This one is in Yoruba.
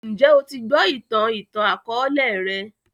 Njẹ o ti gbọ itan itan-akọọlẹ rẹ?